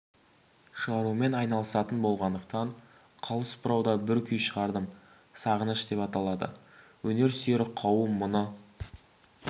шығарумен айналысатын болғандықтан қалыс бұрауда бір күй шығардым сағыныш деп аталады өнер сүйер қауым мұны